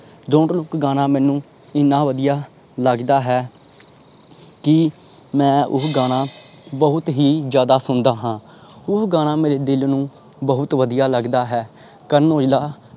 dont look ਗਾਣਾ ਮੈਨੂੰ ਐਨਾ ਵਦੀਆ ਲੱਗਦਾ ਹੈ ਕਿ ਮੈਂ ਓਹੀ ਗਾਣਾ ਬਹੁਤ ਹੀ ਜਿਆਦਾ ਸੁਣਦਾ ਹਾਂ। ਉਹ ਗਾਣਾ ਮੇਰੇ ਦਿਲ ਨੂੰ ਬਹੁਤ ਵਦੀਆ ਲੱਗਦਾ ਹੈ। ਕਰਨ ਔਜਲਾ